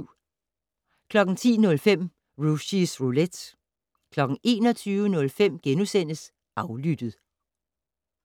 10:05: Rushys Roulette 21:05: Aflyttet *